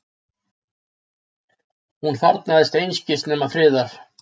Hún þarfnast einskis nema friðar.